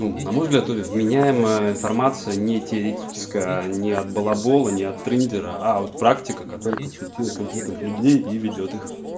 ну на мой взгляд вменяемое информация не теоретическая не от балабола не от триндера а от практика который консультирует конкретных людей и ведёт их